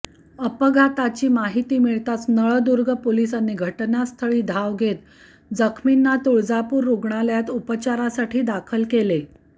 अपघाताची माहिती मिळताच नळदुर्ग पोलिसांनी घटनास्थळी धाव घेत जखमींना तुळजापूर रुग्णालयात उपचारासाठी दाखल केले